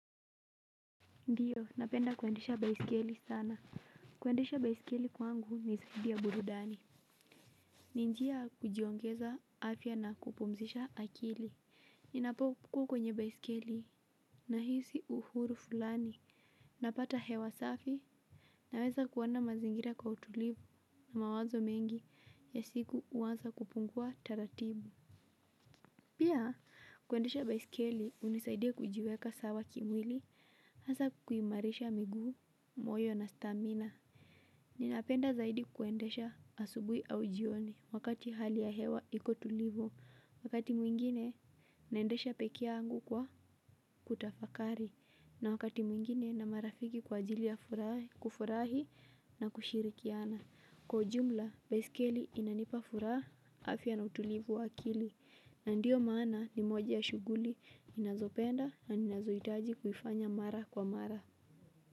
Ndiyo, napenda kuendesha baisikeli sana. Kuendesha baisikeli kwangu ni zaidi ya burudani. Ni njia ya kujiongeza afya na kupumzisha akili. Ninapokuwa kwenye baisikeli nahisi uhuru fulani napata hewa safi. Naweza kuona mazingira kwa utulivu na mawazo mengi ya siku huanza kupungua taratibu. Pia, kuendesha baisikeli hunisaidia kujiweka sawa kimwili. Hasa kuimarisha miguu, moyo na stamina. Ninapenda zaidi kuendesha asubuhi au jioni wakati hali ya hewa iko tulivu. Wakati mwingine naendesha peke yangu kwa kutafakari. Na wakati mwingine na marafiki kwa ajili ya kufurahi na kushirikiana. Kwa ujumla, baiskeli inanipa furaha afya na utulivu wa akili. Na ndio maana ni moja ya shughuli ninazopenda na ninazohitaji kuifanya mara kwa mara.